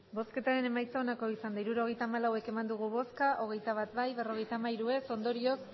hirurogeita hamalau eman dugu bozka hogeita bat bai berrogeita hamairu ez ondorioz